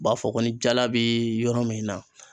U b'a fɔ ko ni jala be yɔrɔ min na